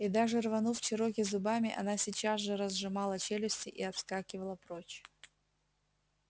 и даже рванув чероки зубами она сейчас же разжимала челюсти и отскакивала прочь